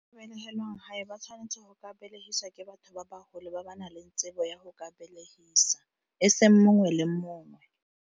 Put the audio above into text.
ba tshwanetse go ka belegiswa ke batho ba bagolo, ba ba nang le tsebo ya go ka belegisa, eseng mongwe le mongwe.